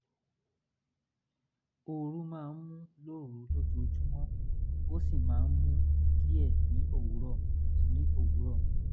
ooru máa ń mú un lóru lójoojúmọ́ ó sì máa ń mú un díẹ̀ ní òwúrọ̀ ní òwúrọ̀